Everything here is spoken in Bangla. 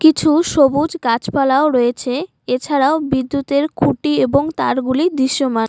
কিছু সবুজ গাছপালাও রয়েছে এছাড়াও বিদ্যুতের খুঁটি এবং তারগুলি দিশ্যমান ।